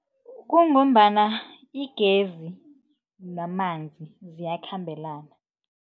Kungombana igezi namanzi ziyakhambelana.